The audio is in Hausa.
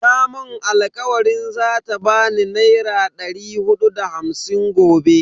Ta mun alkawarin zata bani naira dari hudu da hamsin gobe.